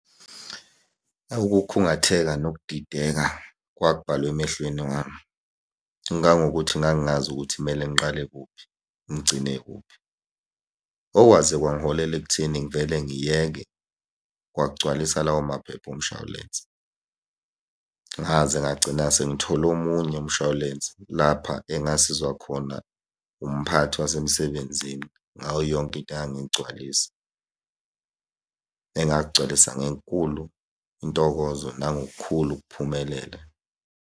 Awu, ukukhungatheka nokudideka kwakubhalwe emehlweni wami, kangangokuthi ngangingazi ukuthi kumele ngiqale kuphi, ngigcine kuphi. Okwaze kwangiholela ekutheni ngivele ngiyeke kwakugcwalisa lawo maphepha omshwalense. Ngaze ngagcina sengithole omunye umshwalense lapha engasizwa khona umphathi wasemsebenzini ngayo yonke into engangiyigcwalisa. Engakugcwalisa ngenkulu intokozo nangokukhulu ukuphumelela.